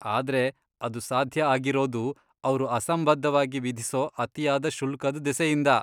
ಆದ್ರೆ ಅದು ಸಾಧ್ಯ ಆಗಿರೋದು ಅವ್ರು ಅಸಂಬದ್ಧವಾಗಿ ವಿಧಿಸೋ ಅತಿಯಾದ ಶುಲ್ಕದ್ ದೆಸೆಯಿಂದ.